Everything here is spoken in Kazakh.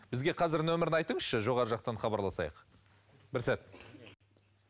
бізге қазір нөмірін айтыңызшы жоғарғы жақтан хабарласайық бір сәт